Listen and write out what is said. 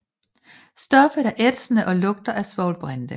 Stoffet er ætsende og lugter af svovlbrinte